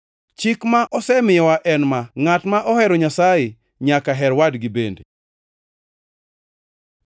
Chik ma osemiyowa en ma: Ngʼat mohero Nyasaye nyaka her wadgi bende.